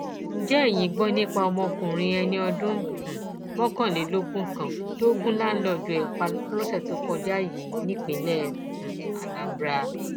ǹjẹ eyín gbọ nípa ọmọkùnrin ẹni ọdún um mọkànlélógún kan tó gùn láńlọọdù ẹ pa lọsẹ tó kọjá yìí nípínlẹ um anambra